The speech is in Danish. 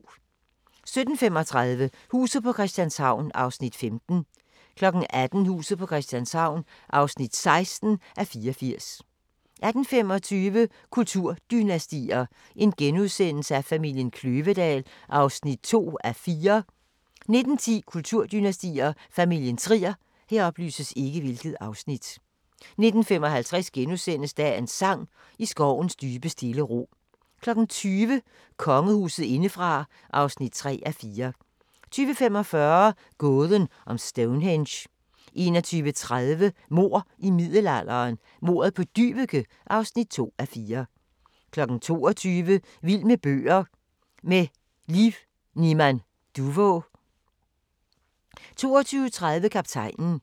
17:35: Huset på Christianshavn (15:84) 18:00: Huset på Christianshavn (16:84) 18:25: Kulturdynastier: Familien Kløvedal (2:4)* 19:10: Kulturdynastier: Familien Trier 19:55: Dagens sang: I skovens dybe stille ro * 20:00: Kongehuset indefra (3:4) 20:45: Gåden om Stonehenge 21:30: Mord i middelalderen – Mordet på Dyveke (2:4) 22:00: Vild med bøger: Med Liv Niman Duvå 22:30: Kaptajnen